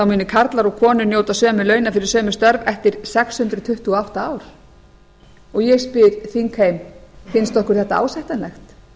muni karlar og konur njóta sömu launa fyrir sömu störf eftir sex hundruð tuttugu og átta ár ég spyr þingheim finnst okkur þetta ásættanlegt